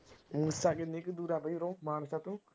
ਮੂਸਾ ਕਿੰਨੀ ਕੁ ਦੂਰ ਆ ਬਾਈ ਉਰੋਂ ਮਾਨਸਾ ਤੋਂ